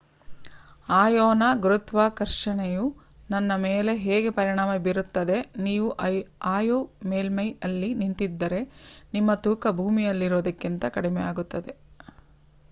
ಅಯೋನ ಗುರುತ್ವಾಕರ್ಷಣೆಯು ನನ್ನ ಮೇಲೆ ಹೇಗೆ ಪರಿಣಾಮ ಬೀರುತ್ತದೆ ನೀವು ಅಯೋ ಮೇಲ್ಮೈಯಲ್ಲಿ ನಿಂತಿದ್ದರೆ ನಿಮ್ಮ ತೂಕ ಭೂಮಿಯಲ್ಲಿರುವುದಕ್ಕಿಂತ ಕಡಿಮೆಯಾಗಿರುತ್ತದೆ